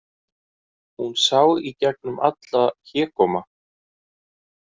Hún sá í gegnum allan hégóma.